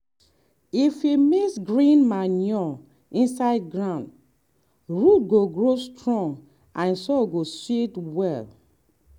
if we mix green manure inside ground root go grow strong and soil go sweet well.